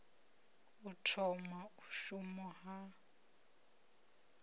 u thoma u shuma ha